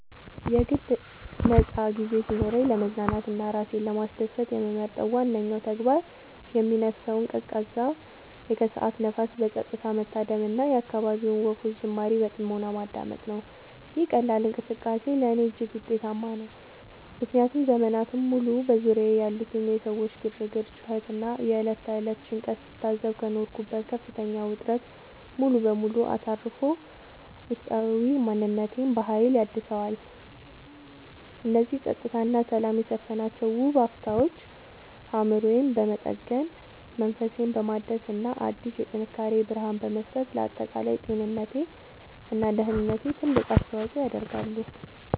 የግል ነፃ ጊዜ ሲኖረኝ ለመዝናናት እና ራሴን ለማስደሰት የምመርጠው ዋነኛው ተግባር የሚነፍሰውን ቀዝቃዛ የከሰዓት ንፋስ በፀጥታ መታደም እና የአካባቢውን ወፎች ዝማሬ በጥሞና ማዳመጥ ነው። ይህ ቀላል እንቅስቃሴ ለእኔ እጅግ ውጤታማ ነው፤ ምክንያቱም ዘመናትን ሙሉ በዙሪያዬ ያሉትን የሰዎች ግርግር፣ ጩኸት እና የዕለት ተዕለት ጭንቀት ስታዘብ ከኖርኩበት ከፍተኛ ውጥረት ሙሉ በሙሉ አሳርፎ ውስጣዊ ማንነቴን በሀይል ያድሰዋል። እነዚህ ፀጥታ እና ሰላም የሰፈነባቸው ውብ አፍታዎች አእምሮዬን በመጠገን፣ መንፈሴን በማደስ እና አዲስ የጥንካሬ ብርሃን በመስጠት ለአጠቃላይ ጤንነቴ እና ደህንነቴ ትልቅ አስተዋፅዖ ያደርጋሉ።